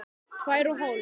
Tvær og hálf.